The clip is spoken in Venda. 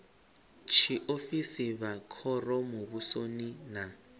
tshiofisi vha khoro muvhusoni na